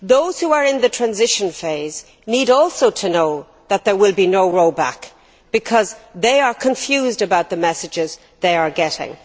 Those who are in the transition phase also need to know that there will be no roll back, because they are confused about the messages they are getting.